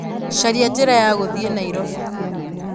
caria njĩra ya gũthiĩ Nairobi